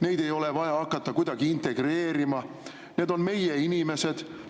Neid ei ole vaja hakata kuidagi integreerima, need on meie inimesed.